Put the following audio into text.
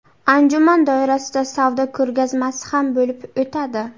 Anjuman doirasida savdo ko‘rgazmasi ham bo‘lib o‘tadi.